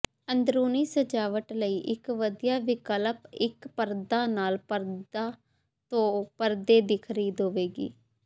ਅੰਦਰੂਨੀ ਸਜਾਵਟ ਲਈ ਇੱਕ ਵਧੀਆ ਵਿਕਲਪ ਇੱਕ ਪਰਦਾ ਨਾਲ ਪਰਦਾ ਤੋਂ ਪਰਦੇ ਦੀ ਖਰੀਦ ਹੋਵੇਗੀ